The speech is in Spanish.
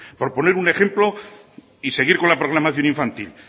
por poner un ejemplo y seguir con la programación infantil